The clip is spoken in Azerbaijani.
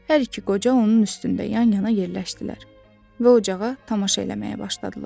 Hər iki qoca onun üstündə yan-yana yerləşdilər və ocağa tamaşa eləməyə başladılar.